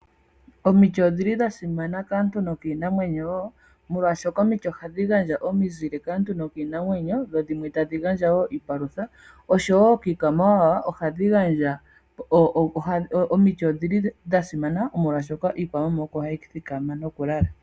Omiti odhili dhasimana molwaashoka omiti ohadhi gandja omizile kaantu noshowoo kiinamwenyo . Ohadhi gandja iipalutha oshowoo kiikwamawawa okuthikama noshowoo okukala.